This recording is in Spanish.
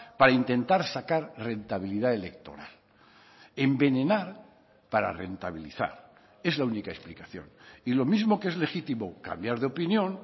para intentar sacar rentabilidad electoral envenenar para rentabilizar es la única explicación y lo mismo que es legitimo cambiar de opinión